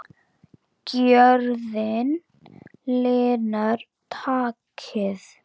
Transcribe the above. Gjörðin linar takið.